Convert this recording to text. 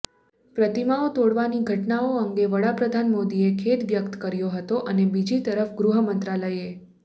પ્રતિમાઓ તોડવાની ઘટનાઓ અંગે વડાપ્રધાન મોદીએ ખેદ વ્યક્ત કર્યો હતો અને બીજી તરફ ગૃહ મંત્રાલયે